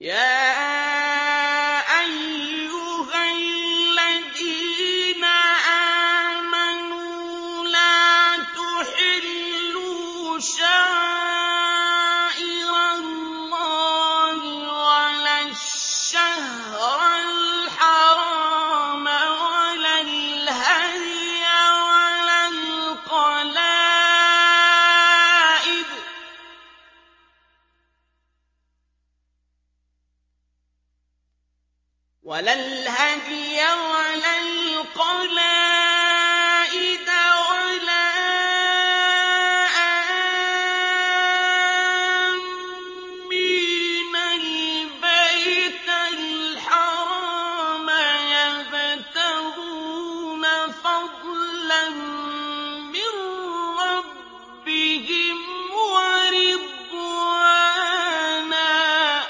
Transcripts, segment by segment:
يَا أَيُّهَا الَّذِينَ آمَنُوا لَا تُحِلُّوا شَعَائِرَ اللَّهِ وَلَا الشَّهْرَ الْحَرَامَ وَلَا الْهَدْيَ وَلَا الْقَلَائِدَ وَلَا آمِّينَ الْبَيْتَ الْحَرَامَ يَبْتَغُونَ فَضْلًا مِّن رَّبِّهِمْ وَرِضْوَانًا ۚ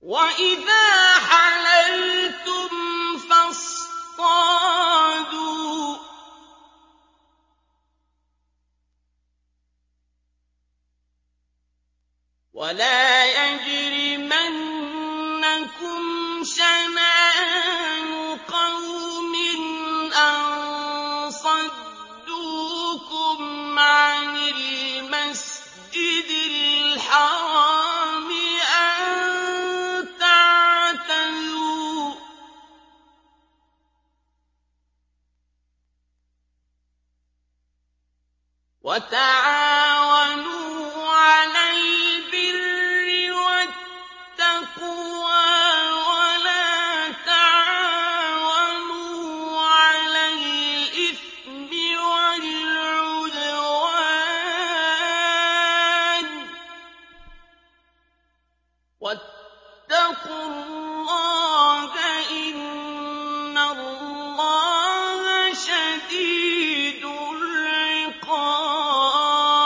وَإِذَا حَلَلْتُمْ فَاصْطَادُوا ۚ وَلَا يَجْرِمَنَّكُمْ شَنَآنُ قَوْمٍ أَن صَدُّوكُمْ عَنِ الْمَسْجِدِ الْحَرَامِ أَن تَعْتَدُوا ۘ وَتَعَاوَنُوا عَلَى الْبِرِّ وَالتَّقْوَىٰ ۖ وَلَا تَعَاوَنُوا عَلَى الْإِثْمِ وَالْعُدْوَانِ ۚ وَاتَّقُوا اللَّهَ ۖ إِنَّ اللَّهَ شَدِيدُ الْعِقَابِ